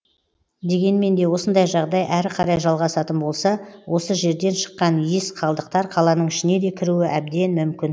дегенмен де осындай жағдай әрі қарай жалғасатын болса осы жерден шыққан иіс қалдықтар қаланың ішіне де кіруі әбден мүмкін